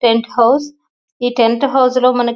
tent house లో ఈ tent house లో మనకి--